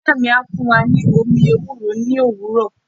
Iya mi a fun wa ni omi ewúro ni owuro.